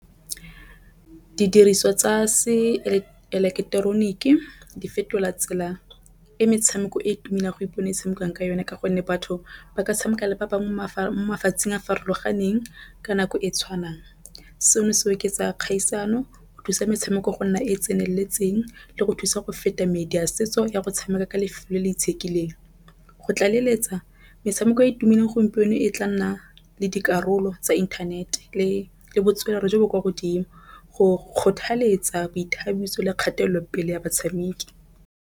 Didiriswa tsa se eleketoroniki di fetola tsela e metshameko e tumileng go ipona e tshamekiwang ka yone, ka gonne batho ba ka tshameka le ba bangwe mafatsheng a farologaneng ka nako e tshwanang. Seno se oketsa kgaisano go thusa metshameko go nna e e tseneletseng le go thusa go feta medi ya setso ya go tshameka ka lefelo le itsheka tlileng. Go tla leletsa metshameko e tumelelo gompieno e tla nna le dikarolo tsa inthanete le botswerere jo bo kwa godimo go kgothaletsa boithabiso le kgatelopele ya batshameki.